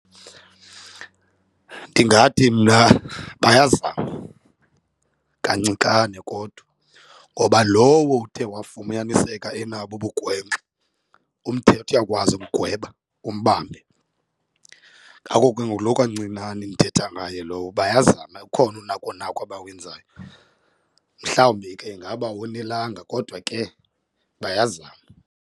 Ndingathi mna bayazama kancikane kodwa ngoba lowo uthe wafumaniseka enabo ubugwenxa umthetho uyakwazi umgweba umbambe. Ngako ke nguloo kancinane ndithetha ngayo lowo bayazama ukhona unako nako abawenzayo, mhlawumbi ke ingaba awanelanga kodwa ke bayazama.